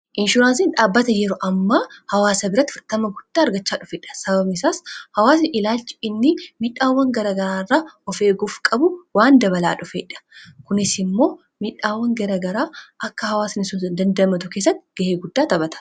inshuraansiin dhaabbata yero amma hawaasa biratti fudhatama guddaa argachaa dhufedha sababni isaas hawaasa ilaalchi inni midhaawwan garagaraa irraa of eeguuf qabu waan dabalaa dhufeedha kunis immoo midhaawwan garagaraa akka hawaasni sun dandamatu kessatti ga'ee guddaa taphata